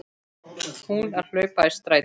Hún að hlaupa í strætó.